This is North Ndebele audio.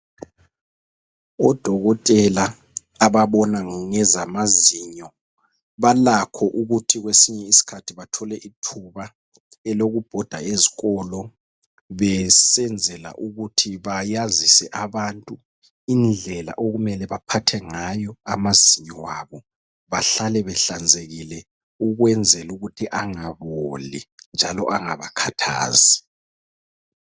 Odokotela ababona ngezamazinyo balakho ukuthi kwesinye isikhathi bathole ithuba elokubhoda ezikolo besenzela ukuthi bayazise abantu indlela okumele baphathe ngayo amazinyo abo bahlale behlanzekile ukwenzela ukuthi angaboli njalo angabakhathazi.